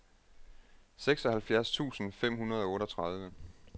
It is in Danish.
seksoghalvfjerds tusind fem hundrede og otteogtredive